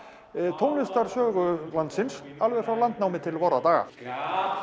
tónlistarsögu landsins alveg frá landnámi til vorra daga það